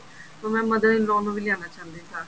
ਤੇ ਮੈਂ mother in law ਨੂੰ ਵੀ ਲਿਆਉਣਾ ਚਾਹੁੰਦੀ ਸਾਥ